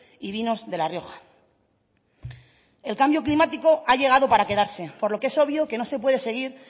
y vinos de la rioja el cambio climático ha llegado para quedarse por lo que es obvio que no se puede seguir